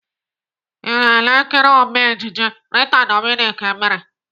I na-ele nkiri Ome ejije Rita Dominic mere?